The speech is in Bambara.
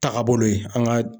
Tagabolo ye an ka.